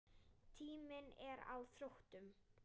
Tíminn er á þrotum.